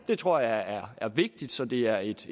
det tror jeg er vigtigt så det er et